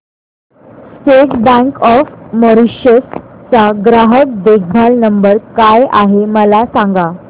state bank of Mauritius चा ग्राहक देखभाल नंबर काय आहे मला सांगा